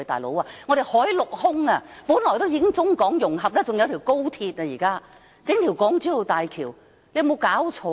老兄，我們海陸空已做到中港融合，現在還有一條高鐵，還要興建一條港珠澳大橋，有沒有搞錯！